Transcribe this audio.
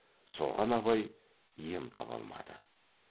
соған абай ем таба алмады